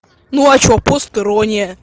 ну а чего пост ирония